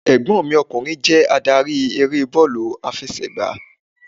Ẹ̀gbọ́n mi ọkùnrin jé adarí eré bọ́ọ̀lù àfẹsẹ̀gbá